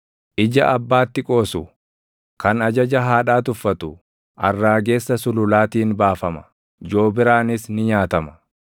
“Ija abbaatti qoosu, kan ajaja haadhaa tuffatu arraagessa sululaatiin baafama; joobiraanis ni nyaatama.